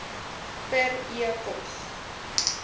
per e pos